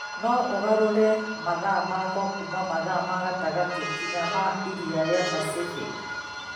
no ũgarũre mahinda makwa kuuma mathaa ma gatagati nginya ma iria ria Pacific